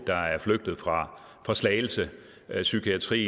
der er flygtet fra slagelse psykiatri